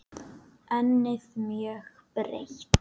Ennið mjög breitt.